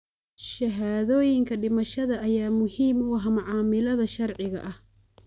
Shahaadooyinka dhimashada ayaa muhiim u ah macaamilada sharciga ah.